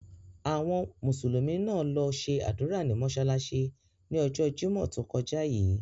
Àwọn Mùsùlùmí náà lo se ádùra ní mósálásí ni ọjọ́ Jimọ to kọja yii.